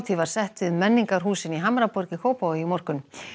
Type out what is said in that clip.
var sett við menningarhúsin í Hamraborg í Kópavogi í morgun